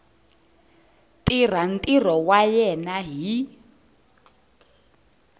tirha ntirho wa yena hi